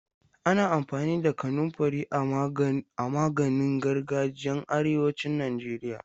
Ana amfani da kanunfari a maganin gargajiyan arewacin Najeriya.